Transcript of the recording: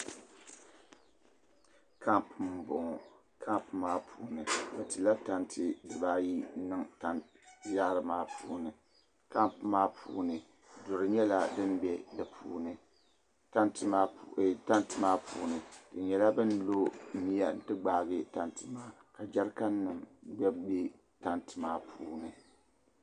Kamp m bɔŋɔ kamp maa puuni bɛ tila tantɛ diba ayi n niŋ yaari maa puuni kamp maa puuni duri nyɛla din bɛ di puuni tantɛ maa puuni bɛ nyɛla ban lɔ miya n ti gbaigi tantɛ maa jɛrikan nim gba bɛ tantɛ maa puuni.